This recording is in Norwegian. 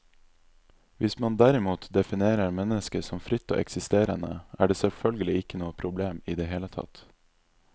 Hvis man derimot definerer mennesket som fritt og eksisterende, er det selvfølgelig ikke noe problem i det hele tatt.